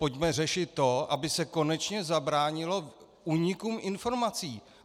Pojďme řešit to, aby se konečně zabránilo únikům informací.